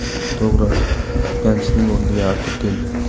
To‘g‘ri, Pyanichning o‘rniga Artur keldi.